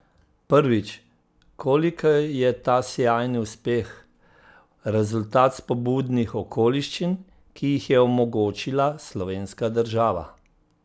Prvič, koliko je ta sijajni uspeh rezultat spodbudnih okoliščin, ki jih je omogočila slovenska država?